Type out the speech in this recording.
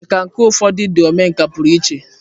Nkà nke ụfọdụ ndị omenkà pụrụ iche.